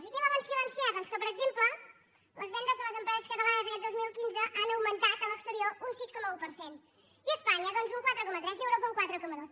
i què volen silenciar doncs que per exemple les vendes de les empreses catalanes aquest dos mil quinze han augmentat a l’exterior un sis coma un per cent i a espanya doncs un quatre coma tres i a europa un quatre coma dos